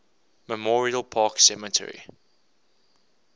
memorial park cemetery